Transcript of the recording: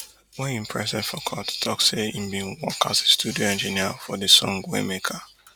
wey im present for court tok say im bin work as a studio engineer for di song waymaker